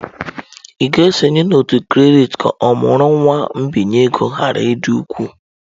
Ị ga-esonye n'òtù kredit ka ọmụrụ nwa mbinye ego ghara ịdị ukwuu.